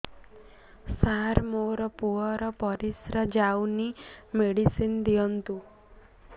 ସାର ମୋର ପୁଅର ପରିସ୍ରା ଯାଉନି ମେଡିସିନ ଦିଅନ୍ତୁ